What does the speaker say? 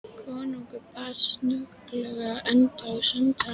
Konungur batt snögglega enda á samtalið.